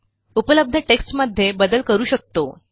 उपलब्ध टेक्स्टमध्ये बदल करू शकतो